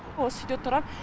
осы үйде тұрам